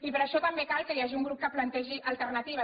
i per això també cal que hi hagi un grup que plantegi alternatives